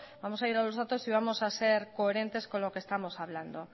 vamos a ir a los datos y vamos a ser coherentes con lo que estamos hablando